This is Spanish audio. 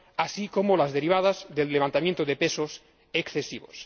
así como las derivadas del levantamiento de pesos excesivos.